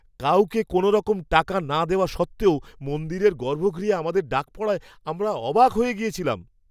কাউকে কোনওরকম টাকা না দেওয়া সত্ত্বেও মন্দিরের গর্ভগৃহে আমাদের ডাক পড়ায় আমরা অবাক হয়ে গেছিলাম!